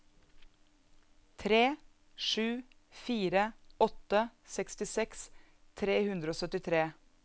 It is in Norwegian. tre sju fire åtte sekstiseks tre hundre og syttitre